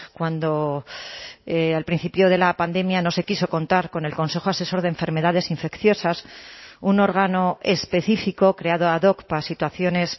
cuando al principio de la pandemia no se quiso contar con el consejo asesor de enfermedades infecciosas un órgano específico creado ad hoc para situaciones